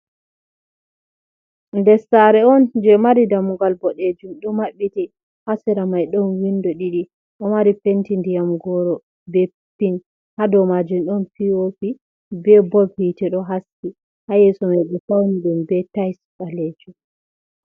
Nder saare on je mari damugal boɗejum, ɗo maɓɓiti, ha sera mai ɗon windo ɗiɗi, ɗo mari penti ndiyam gooro, be pink, ha dow maaji ɗon pii-oo-pi, be bob hiite ɗo haski, ha yeeso mai ɓe fawni ɗum be taais ɓaleejum.